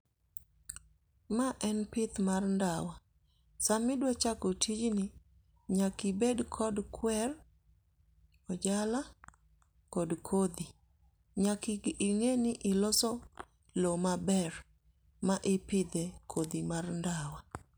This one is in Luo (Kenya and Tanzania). Ma en pith mar ndawa. Sami dwa chako tijni, nyakibed kod kwer, ojala kod kodhi. Nyaki ing'e ni iloso loo maber ma ipidhe kodhi mar ndawa.